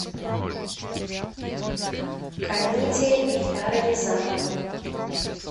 комедия эльдара рязанова